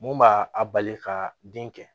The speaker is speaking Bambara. Mun b'a a bali ka den kɛ